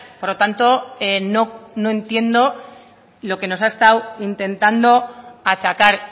por lo tanto no entiendo lo que nos ha estado intentando achacar